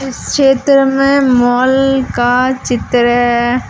इस चित्र में माल का चित्र--